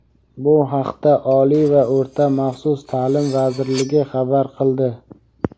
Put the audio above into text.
Bu haqda Oliy va o‘rta maxsus ta’lim vazirligi xabar qildi.